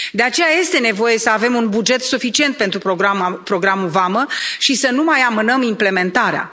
De aceea, este nevoie să avem un buget suficient pentru programul Vamă și să nu mai amânăm implementarea.